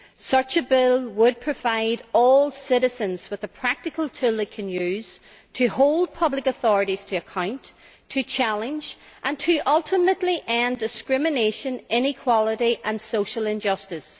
Such a bill would provide all citizens with a practical tool they can use to hold public authorities to account, to challenge and, ultimately, to end discrimination, inequality and social injustice.